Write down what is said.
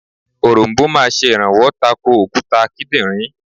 Òronbó máa sè rànwó tako òkúta kídìnrín